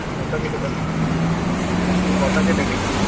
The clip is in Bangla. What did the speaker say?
কথা কেটে গেলো তোর হ্যা তোর কথা কেটে গেলো